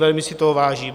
Velmi si toho vážím.